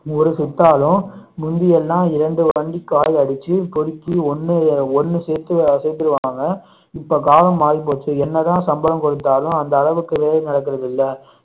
ஒரு சித்தாளும் முந்தி எல்லாம் இரண்டு வண்டி காயடிச்சு பொறுக்கி ஒன்னு ஒன்னு சேத்து சேத்துருவாங்க இப்போ காலம் மாறி போச்சு என்னதான் சம்பளம் கொடுத்தாலும் அந்த அளவுக்கு வேலை நடக்கிறது இல்ல